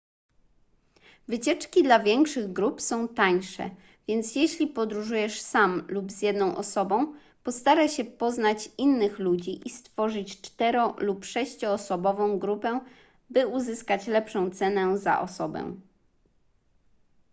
wycieczki dla większych grup są tańsze więc jeśli podróżujesz sam lub z jedną osobą postaraj się poznać innych ludzi i stworzyć cztero lub sześcioosobową grupę by uzyskać lepszą cenę za osobę